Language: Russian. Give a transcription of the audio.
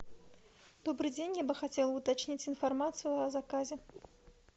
добрый день я бы хотела уточнить информацию о заказе